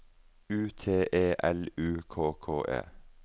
U T E L U K K E